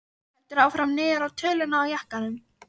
Heldur áfram niður á töluna á jakkanum.